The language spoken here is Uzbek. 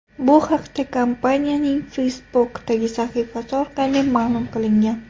Bu haqda kompaniyaning Facebook’dagi sahifasi orqali ma’lum qilingan .